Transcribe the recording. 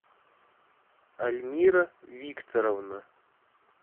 альмира викторовна